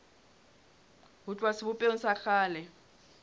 ho tloha sebopehong sa kgale